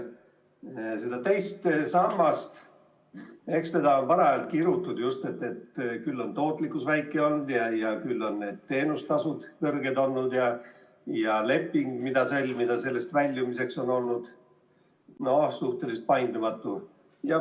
Eks seda II sammast ole parajalt kirutud, et küll on tootlikkus väike olnud ja küll on teenustasud suured olnud ning et leping, mis sõlmitakse sambast väljumiseks, on olnud suhteliselt paindumatu.